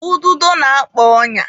Ududo na-akpa ọnya.